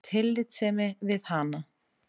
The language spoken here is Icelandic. Af tillitssemi við hana.